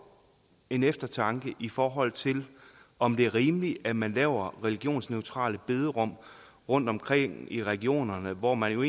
eftertanke i forhold til om det er rimeligt at man laver religionsneutrale bederum rundtomkring i regionerne hvor man jo